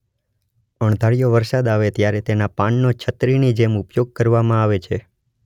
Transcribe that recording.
અણધાર્યો વરસાદ આવે ત્યારે તેના પાનનો છત્રીની જેમ ઉપયોગ કરવામાં આવે છે.